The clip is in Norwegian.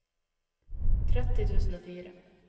tretti tusen og fire